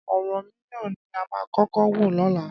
Ọ̀rànmíyàn ni a máa kọ́kọ́ wò lọ́la.